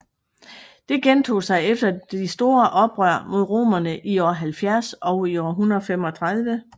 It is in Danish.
Det gentog sig efter de store oprør mod romerne i år 70 og år 135